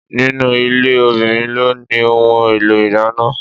Ninu ilé, obìnrin ló ni ohun èlò ìdáná.